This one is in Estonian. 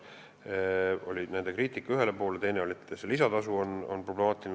See oli nende kriitika ühe idee kohta ja teine väide oli see, et lisatasu on problemaatiline.